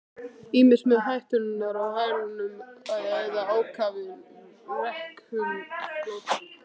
Ýmist með hætturnar á hælunum eða ákafir rekum flóttann.